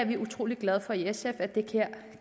vi er utrolig glade for i sf at det her